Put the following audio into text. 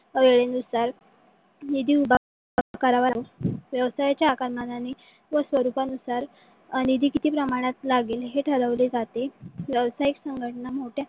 अं वेळेनुसार निधी उभा करावा लागतो. व्यवसायाच्या आकारमाणणे व स्वरूपणूसार अं निधी कीती प्रमाणात लागेल हे ठरवले जाते. व्यवसाईक संघटना मोठ्या